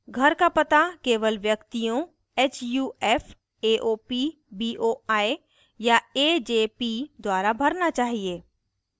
घर का पता केवल व्यक्तियों huf aop boi या ajp द्वारा भरना चाहिए